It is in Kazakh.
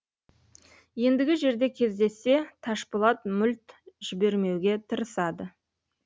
ендігі жерде кездессе ташпулат мүлт жібермеуге тырысады